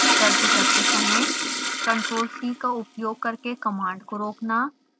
गलती करते समय ctrl+c का उपयोग करके कमांड को रोकना